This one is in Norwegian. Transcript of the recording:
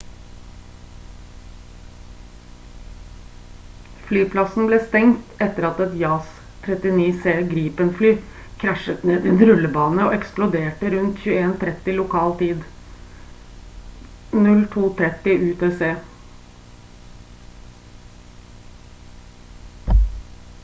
flyplassen ble stengt etter at et jas 39c gripen-fly krasjet ned i en rullebane og eksploderte rundt 21:30 lokal tid 02:30 utc